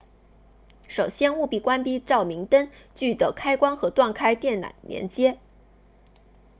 首先务必关闭照明灯具的开关或断开电缆连接